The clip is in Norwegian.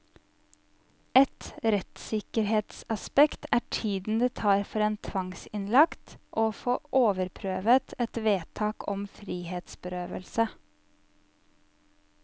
Et rettssikkerhetsaspekt er tiden det tar for en tvangsinnlagt å få overprøvet et vedtak om frihetsberøvelse.